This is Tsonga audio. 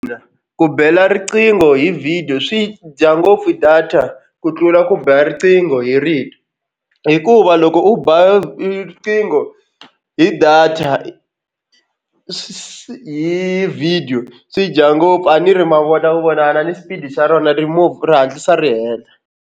Na ku bela riqingho hi vhidiyo swi dya ngopfu data ku tlula ku bela riqingho hi rito hikuva loko u ba riqingho hi data hi video swi dya ngopfu a ni ri ma vona ku vonana ni xipidi xa rona ri move ra hatlisa ri hela.